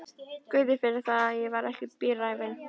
Guði fyrir það, ég var ekki svo bíræfin.